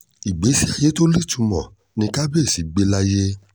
ìgbésí ayé tó nítumọ̀ ni kábíésì gbé láyé